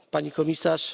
Pani Komisarz!